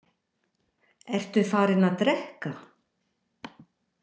Ertu farinn að drekka?